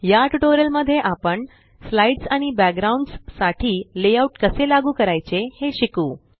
या ट्यूटोरियल मध्ये आपण स्लाइड्स आणि बॅकग्राउंड्स साठी लेआउट कसे लागू करायचे हे शिकू